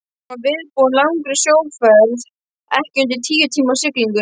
Hann var viðbúinn langri sjóferð, ekki undir tíu tíma siglingu.